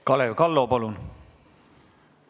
Kalev Kallo, palun!